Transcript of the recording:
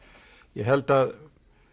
ég held að